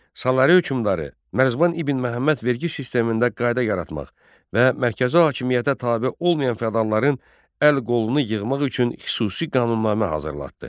Salari hökmdarı Mərzban ibn Məhəmməd vergi sistemində qayda yaratmaq və mərkəzi hakimiyyətə tabe olmayan fədalların əl-qolunu yığmaq üçün xüsusi qanunnamə hazırlatdı.